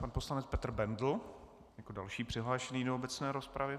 Pan poslanec Petr Bendl jako další přihlášený do obecné rozpravy.